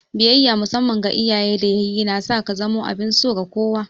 Biyayya musamman ga iyaye da yayyi na sa ka zamo abin so ga kowa.